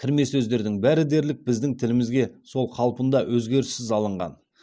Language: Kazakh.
кірме сөздердің бәрі дерлік біздің тілімізге сол қалпында өзгеріссіз алынған